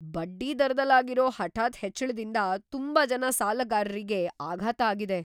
ಬಡ್ಡಿದರದಲ್ ಆಗಿರೋ ಹಠಾತ್ ಹೆಚ್ಳದಿಂದ ತುಂಬಾ ಜನ ಸಾಲಗಾರ್ರಿಗೆ ಆಘಾತ ಆಗಿದೆ.